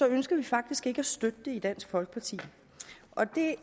ønsker vi faktisk ikke at støtte det i dansk folkeparti og det